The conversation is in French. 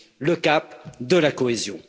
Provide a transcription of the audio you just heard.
le cap de la cohésion.